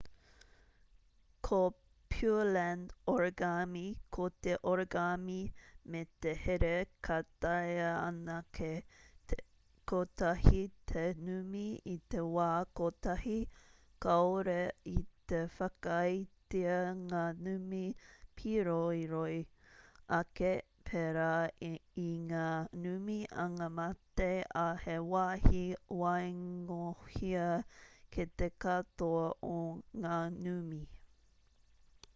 ko pureland origami ko te origami me te here ka taea anake te kotahi te numi i te wā kotahi kāore i te whakaaetia ngā numi pīroiroi ake pērā i ngā numi angamate ā he wāhi waingohia kei te katoa o ngā numi